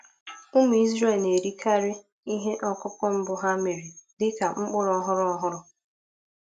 Ụmụ Izrel na-erikarị ihe ọkụkụ mbụ ha mere dị ka mkpụrụ ọhụrụ. ọhụrụ.